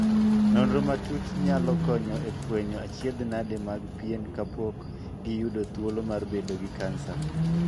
Nonro matut nyalo konyo e fwenyo achiedhnade mag pien kapok giyudo thuolo mar bedo gi kansa.